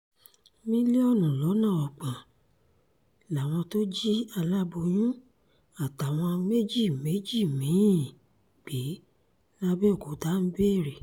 mílíọ̀nù lọ́nà ọgbọ̀n làwọn tó jí aláboyún àtàwọn méjì méjì mí-ín gbé làbẹ́òkúta ń béèrè